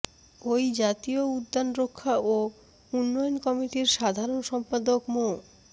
ওই জাতীয় উদ্যান রক্ষা ও উন্নয়ন কমিটির সাধারণ সম্পাদক মো